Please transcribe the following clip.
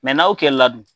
n'aw kɛla dun